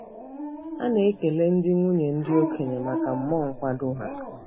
A na-ekele ndị nwunye ndị okenye maka mmụọ nkwado ha.